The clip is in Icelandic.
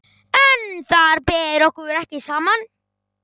En þar ber okkur ekki saman.